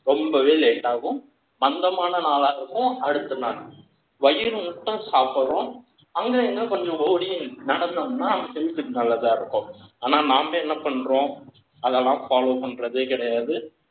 ரொம்பவே late ஆகும் மந்தமான நாளா இருக்கும் அடுத்த நாள் வயிறு முட்ட சாப்பிடணும் அங்கங்க கொஞ்சம் ஓடி நடந்தோனா health க்கு நாம என்ன பண்றோம் அதெல்லாம் follow பண்றதே கிடையாது